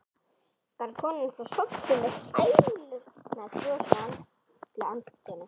Var konan þá sofnuð með sælunnar bros á öllu andlitinu.